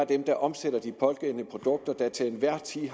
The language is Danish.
dem der omsætter de pågældende produkter der til enhver tid